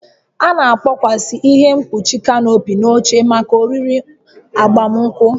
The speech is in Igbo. A na-akpọsa ihe mkpuchi kanopi na oche maka oriri agbamunkwụ